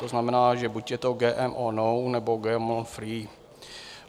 To znamená, že buď je to GMO non, nebo GMO free.